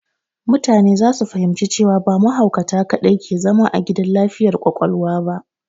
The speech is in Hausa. Mutane za su fahimci cewa ba mahaukatai kadai ke zama a gidan lafiyar ƙwaƙwalwa ba.